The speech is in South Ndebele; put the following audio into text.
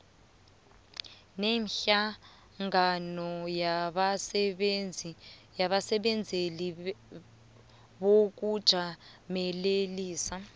nehlangano yabasebenzeli bokujamelelisa